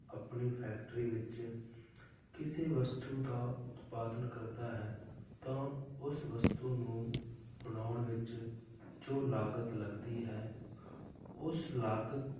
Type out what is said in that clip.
ਆਪਣੀ factory ਵਿੱਚ ਕਿਸੇ ਵਸਤੂ ਦਾ ਉਤਪਾਦਨ ਕਰਦਾ ਹੈ ਤਾਂ ਉਸ ਵਸਤੂ ਨੂੰ ਬਣਾਉਣ ਵਿੱਚ ਜੋ ਲਾਗਤ ਲੱਗਦੀ ਹੈ ਉਸ ਲਾਗਤ